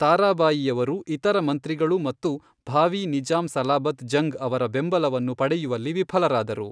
ತಾರಾಬಾಯಿಯವರು ಇತರ ಮಂತ್ರಿಗಳು ಮತ್ತು ಭಾವೀ ನಿಜಾಂ ಸಲಾಬತ್ ಜಂಗ್ ಅವರ ಬೆಂಬಲವನ್ನು ಪಡೆಯುವಲ್ಲಿ ವಿಫಲರಾದರು.